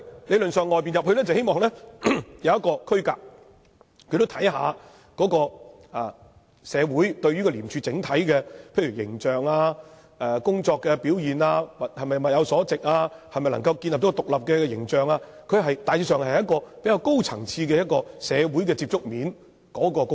理論上，從外面招聘，是希望他從另一個角度，看看如何提升社會對廉署整體的形象、工作表現、研究能否建立獨立的形象等，大致上是一個比較高層次的社會接觸面的工作。